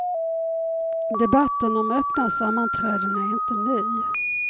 Debatten om öppna sammanträden är inte ny.